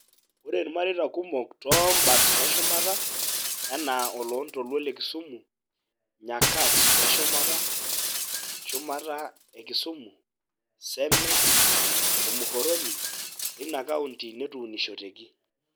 Ore irmareita kumok too imbat e shumata ( enaa oloo ntoluo le kisumu, Nyakach e shumata, shumata e Kisumu, Seme, o Muhoroni) eina kaunti netuunotesheki.